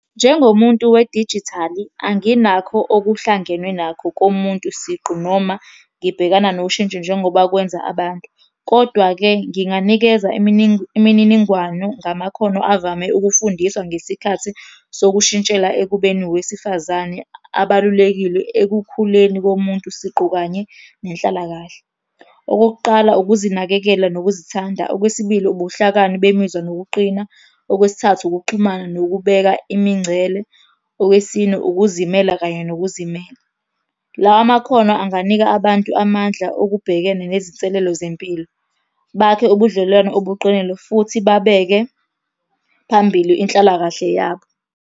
Njengomuntu wedijithali, anginakho okuhlangenwe nakho komuntu siqu noma ngibhekana noshintsho njengoba kwenza abantu, kodwa-ke nginganikeza imininingwane ngamakhono avame ukufundiswa ngesikhathi sokushintshela ekubeni owesifazane abalulekile ekukhuleni komuntu siqu, kanye nenhlalakahle. Okokuqala, ukuzinakekela nokuzithanda. Okwesibili, ubuhlakani bemizwa nokuqina. Okwesithathu, ukuxhumana nokubeka imingcele. Okwesine, ukuzimela kanye . Lawa makhono anganika abantu amandla okubhekena nezinselelo zempilo, bakhe ubudlelwano obuqinile futhi babeke phambili inhlalakahle yabo.